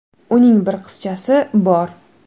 Uning bir qizchasi bor.